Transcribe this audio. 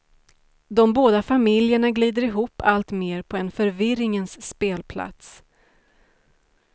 De båda familjerna glider ihop alltmer på en förvirringens spelplats.